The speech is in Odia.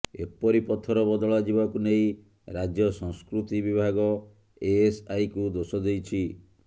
ଏପରି ପଥର ବଦଳାଯିବାକୁ ନେଇ ରାଜ୍ୟ ସଂସ୍କୃତି ବିଭାଗ ଏଏସ୍ଆଇକୁ ଦୋଷ ଦେଇଛି